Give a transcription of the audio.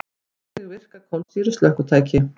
Hvernig virka kolsýru slökkvitæki?